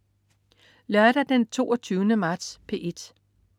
Lørdag den 22. marts - P1: